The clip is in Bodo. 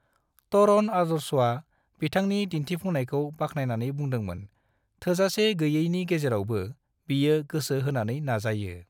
तरण आदर्शआ बिथांनि दिन्थिफुंनायखौ बाखनायनानै बुंदोंमोन "थोजासे गैयैनि गेजेरावबो, बियो गोसो होनानै नाजायो।"